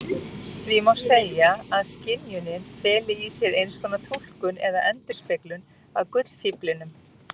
Því má segja að skynjunin feli í sér einskonar túlkun eða endurspeglun á gullfíflinum.